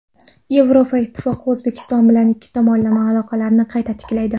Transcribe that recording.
Yevropa Ittifoqi O‘zbekiston bilan ikki tomonlama aloqalarni qayta tiklaydi.